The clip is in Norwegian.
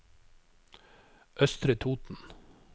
Østre Toten